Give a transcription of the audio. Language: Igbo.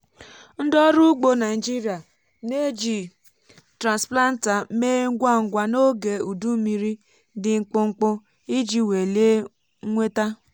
ndị ọrụ ugbo naịjirịa na-eji transplanter mee ngwa ngwa n’oge udu mmiri dị mkpụmkpụ iji welie nnweta.